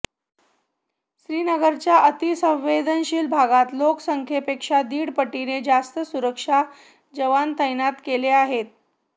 श्रीनगरच्या अतिसंवेदनशील भागात लाेकसंख्येपेक्षा दीड पटीने जास्त सुरक्षा जवान तैनात केले आहेत